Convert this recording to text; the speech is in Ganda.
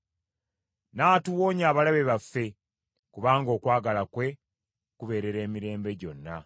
N’atuwonya abalabe baffe, kubanga okwagala kwe kubeerera emirembe gyonna.